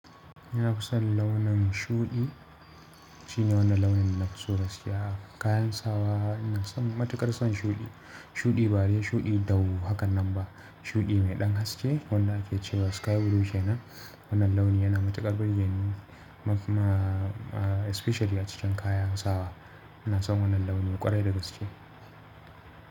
Nafi son launin shuɗi, shine wannan launin nafi so gaskiya kayan. Sawa. Ina son matuƙar son shuɗi. Shuɗi ba dai shuɗi dau hakan nan ba. Shuɗi mai ɗan haske wanda ake cewa sky blue kenan wannan launi yana matuƙar burgeni especially a cikin kayan sawa. Ina son wannan launi ƙwarai da gaske.